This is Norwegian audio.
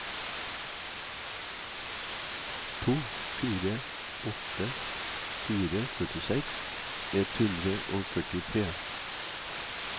to fire åtte fire førtiseks ett hundre og førtitre